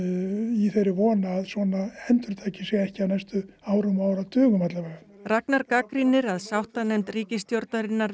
í þeirri von að svona endurtaki sig ekki á næstu árum og áratugum Ragnar gagnrýnir að sáttanefnd ríkisstjórnarinnar